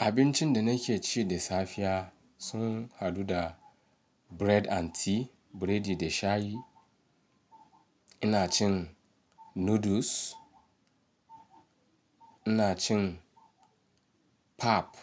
Abincin da nake ci da safiya sun hadu da bread and tea, biredi da shayi. Ina cin noodles, ina cin pap